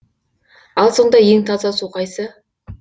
ал сонда ең таза су қайсы